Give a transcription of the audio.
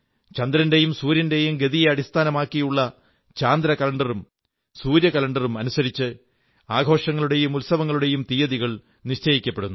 ചന്ദ്രന്റെയും സൂര്യന്റെയും ഗതിയെ അടിസ്ഥാനമാക്കിയുള്ള ചാന്ദ്ര കലണ്ടറും സൂര്യ കലണ്ടറും അനുസരിച്ച് ആഘോഷങ്ങളുടെയും ഉത്സവങ്ങളുടെയും തീയതികൾ നിശ്ചയിക്കപ്പെടുന്നു